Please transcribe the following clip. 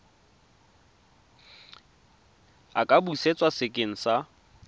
a ka busetswa sekeng sa